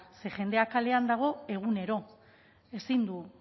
ze jendea kalean dago egunero ezin du